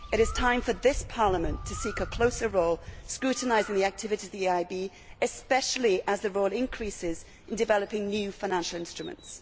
It is time for this Parliament to seek a closer role in scrutinising the activities of the EIB, especially as the Bank's role increases in developing new financial instruments.